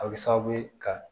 A bɛ sababu ye ka